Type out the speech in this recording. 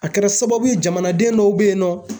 A kɛra sababu ye jamanaden dɔw be ye nɔ